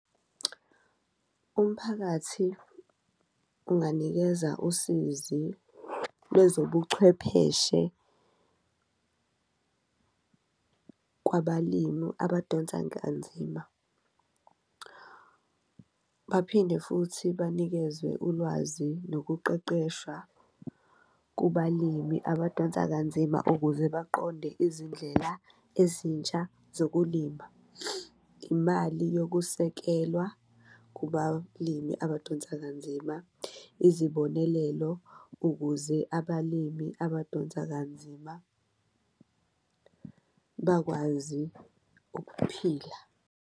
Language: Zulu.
Umphakathi unganikeza usizi lwezobuchwepheshe kwabalimu abadonsanga kanzima, baphinde futhi banikezwe ulwazi nokuqeqeshwa kubalimi abadonsa kanzima ukuze baqonde izindlela ezintsha zokulima. Imali yokusekelwa kubalimi abadonsa kanzima, izibonelelo ukuze abalimi abadonsa kanzima bakwazi ukuphila.